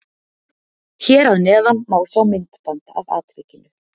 Hér að neðan má sjá myndband af atvikinu.